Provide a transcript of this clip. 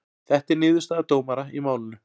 Þetta er niðurstaða dómara í málinu